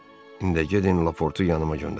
İndi də gedin Laportu yanıma göndərin.